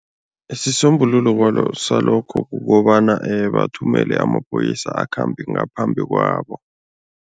Isisombululo salokho kukobana bathumele amaphoyisa akhambe ngaphambi kwabo.